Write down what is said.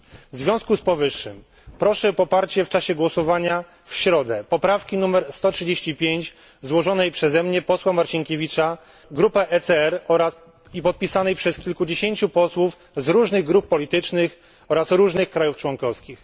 W związku z powyższym proszę o poparcie w czasie głosowania w środę poprawki nr 135 złożonej przez mnie, posła Marcinkiewicza, grupę ECR i podpisanej przez kilkudziesięciu osłów z różnych grup politycznych oraz różnych państw członkowskich.